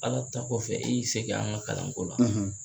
Ala ta kɔfɛ e y'i se kɛ an ka kalanko la